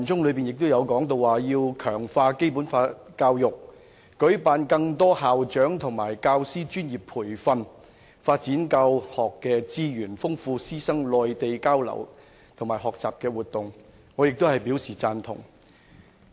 該段亦提到要"強化《基本法》教育、舉辦更多校長及教師專業培訓、發展教學資源、豐富師生內地交流及學習活動"，我亦表贊同。